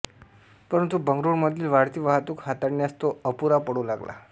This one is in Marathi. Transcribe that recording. परंतु बंगळूरमधील वाढती वाहतूक हाताळण्यास तो अपूरा पडू लागला